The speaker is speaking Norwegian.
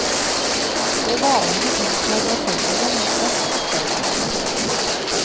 Og hvalene inntar bassengene med plask og stønn.